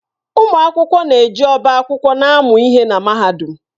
Ụmụ akwụkwọ na-eji ọba akwụkwọ na-amụ ihe na Mahadum.